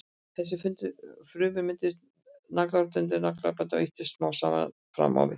Þessar frumur myndast í naglrótinni undir naglabandinu og ýtast smám saman fram á við.